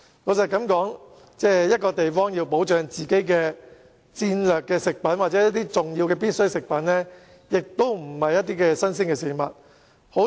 老實說，某地方要保障自己的戰略食品或重要的必需食品，並非新鮮事情。